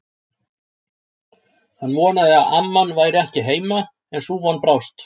Hann vonaði að amman væri ekki heima, en sú von brást.